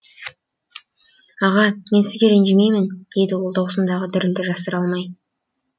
аға мен сізге ренжімеймін деді ол дауысындағы дірілді жасыра алмай